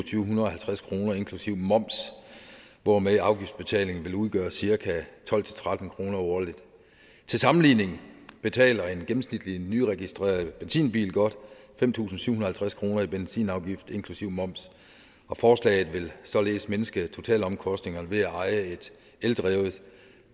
syv hundrede og halvtreds kroner inklusive moms hvormed afgiftsbetalingen vil udgøre cirka tolv til tretten kroner årligt til sammenligning betaler en gennemsnitlig nyregistreret benzinbil godt fem tusind syv hundrede og halvtreds kroner i benzinafgift inklusive moms og forslaget vil således mindske totalomkostningerne ved at eje et eldrevet